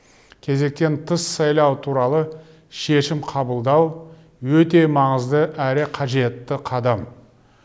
кезектен тыс сайлау туралы шешім қабылдау өте маңызды әрі қажетті қадам